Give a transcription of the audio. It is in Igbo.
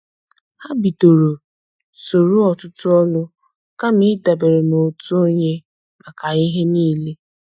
Ha bidoro soro otutu olu kama ịdabere n' otu onye maka ihe niile.